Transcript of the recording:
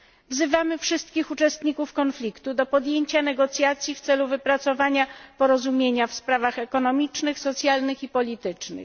Wzywamy wszystkich uczestników konfliktu do podjęcia negocjacji w celu wypracowania porozumienia w sprawach ekonomicznych, socjalnych i politycznych.